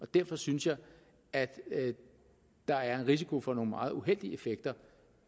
derfor synes jeg at der er en risiko for nogle meget uheldige effekter